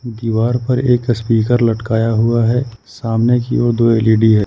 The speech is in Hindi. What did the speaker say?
दीवार पर एक स्पीकर लटकाया हुआ है सामने की ओर दो एल ई डी है।